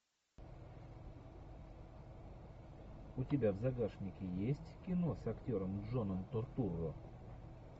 у тебя в загашнике есть кино с актером джоном туртурро